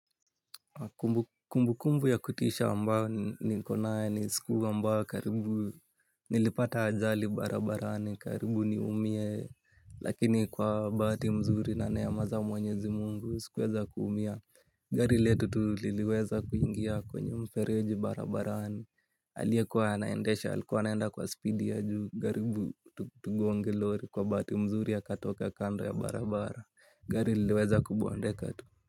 Kumbu kumbu ya kutisha ambayo niko naya ni siku ambayo karibu nilipata ajali barabarani karibu ni umie lakini kwa bahati mzuri na neema za mwenyezi mungu sikuweza kuumia gari letu tu liliweza kuingia kwenye mfereji barabarani aliyekuwa anaendesha alikuwa anaenda kwa spidi ya juu karibu tugonge lori kwa bahati mzuri akatoka kando ya barabara gari iliweza kubondeka tu.